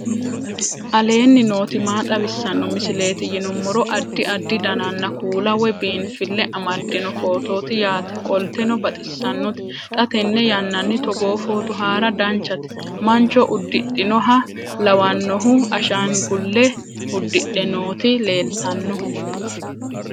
aleenni nooti maa xawisanno misileeti yinummoro addi addi dananna kuula woy biinfille amaddino footooti yaate qoltenno baxissannote xa tenne yannanni togoo footo haara danchate mancho uddidhinoha lawannohu ashangulle uddidhe nooti leeltanno